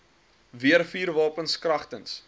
weer vuurwapens kragtens